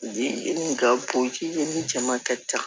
Ji ni ka bon ji ɲini cɛ man ka ca